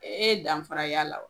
E danfara y'a la wa ?